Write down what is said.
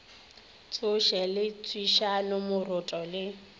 tsoši le tswišana moroto le